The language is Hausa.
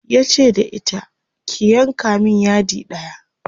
yace da ita ki "yanka min yadi ɗaya!"